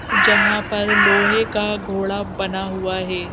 जहां पर लोहे का घोड़ा बना हुआ है।